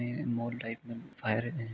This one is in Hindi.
यह मोल टाईप फायर है।